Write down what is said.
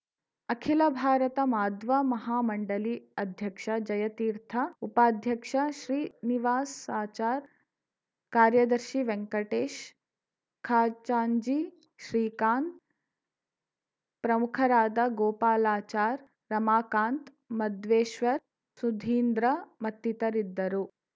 ಅಖಿಲ ಭಾರತ ಮಾಧ್ವ ಮಹಾಮಂಡಳಿ ಅಧ್ಯಕ್ಷ ಜಯತೀರ್ಥ ಉಪಾಧ್ಯಕ್ಷ ಶ್ರೀನಿವಾಸಾಚಾರ್‌ ಕಾರ್ಯದರ್ಶಿ ವೆಂಕಟೇಶ್‌ ಖಜಾಂಚಿ ಶ್ರೀಕಾಂತ್‌ ಪ್ರಮುಖರಾದ ಗೋಪಾಲಾಚಾರ್‌ ರಮಾಕಾಂತ್‌ ಮಧ್ವೇಶ್ವರ್ ಸುಧೀಂದ್ರ ಮತ್ತಿತರಿದ್ದರು